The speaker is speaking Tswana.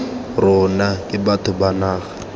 rona ke batho ba naga